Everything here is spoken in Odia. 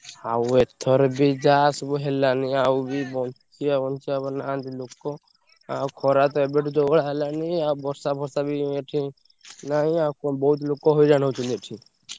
ଆଉ ଏଥର ବି ଯାହା ସବୁ ହେଲାନି ଆଉ ବି ବଞ୍ଚିବା ନାହାନ୍ତି ଲୋକ। ଆଉ ଖରାତ ଏବେଠୁ ଯୋଉ ଭଳିଆ ହେଲାଣି ଆଉ ବର୍ଷା ଫର୍ସା ବି ଯୋଉ ଏଠି ନାହିଁ ଆଉ ବହୁତ୍ ଲୋକ ହଇରାଣ ହଉଛନ୍ତି ଏଠି।